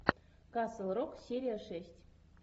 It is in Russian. касл рок серия шесть